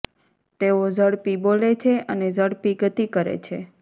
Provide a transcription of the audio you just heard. તેઓ ઝડપી બોલે છે અને ઝડપી ગતિ કરે છે